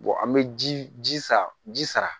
an bɛ ji ji san ji sara